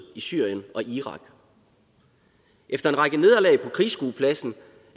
i syrien og irak efter en række nederlag på krigsskuepladsen